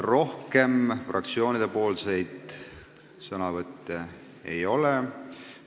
Rohkem fraktsioonide esindajate sõnavõtte ei ole.